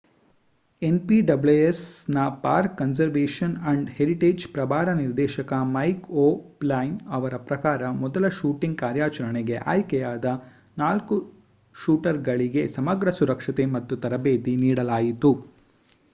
npwsನ park conservation and ಹೆರಿಟೇಜ್‍‌ನ ಪ್ರಭಾರ ನಿರ್ದೇಶಕ ಮೈಕ್ ಓ'ಪ್ಲೈನ್ ಅವರ ಪ್ರಕಾರ ಮೊದಲ ಶೂಟಿಂಗ್ ಕಾರ್ಯಾಚರಣೆಗೆ ಆಯ್ಕೆಯಾದ ೪ ಶೂಟರ್ಗಳಿಗೆ ಸಮಗ್ರ ಸುರಕ್ಷತೆ ಮತ್ತು ತರಬೇತಿ ನೀಡಲಾಯಿತು